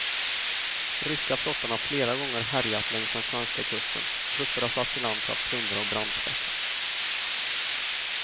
Ryska flottan har flera gånger härjat längs den svenska kusten, trupper har satts i land för att plundra och brandskatta.